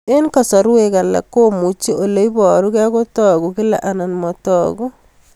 Eng'kasarwek alak komuchi ole parukei kotag'u kila anan matag'u